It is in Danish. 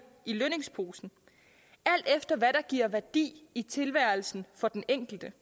i lønningsposen alt efter hvad der giver værdi i tilværelsen for den enkelte